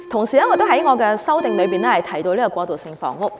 此外，我的修正案也提到過渡性房屋。